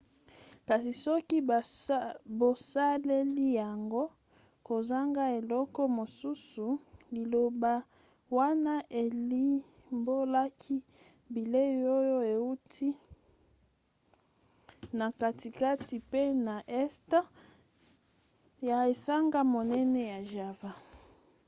kasi soki bosaleli yango kozanga eloko mosusu liloba wana elimbolaka bilei oyo euti na katikati pe na este ya esanga monene ya java